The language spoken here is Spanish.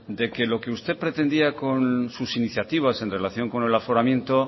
de que lo que usted pretendía con sus iniciativas en relación con el aforamiento